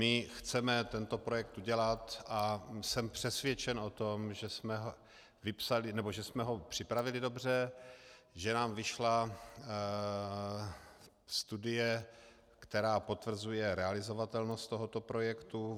My chceme tento projekt udělat a jsem přesvědčen o tom, že jsme ho připravili dobře, že nám vyšla studie, která potvrzuje realizovatelnost tohoto projektu.